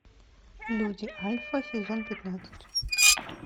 люди альфа сезон пятнадцать